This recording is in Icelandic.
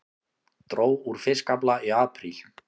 Dró úr fiskafla í apríl